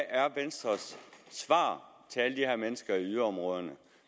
er venstres svar til alle de her mennesker i yderområderne